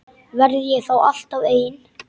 Verð ég þá alltaf ein?